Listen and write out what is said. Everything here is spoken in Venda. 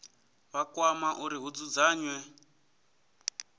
vha kwama uri hu dzudzanywe